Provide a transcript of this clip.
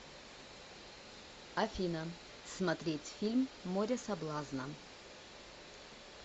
афина смотреть фильм море соблазна